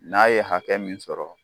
N'a ye hakɛ min sɔrɔ